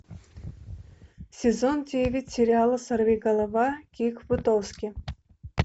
сезон девять сериала сорвиголова кик бутовски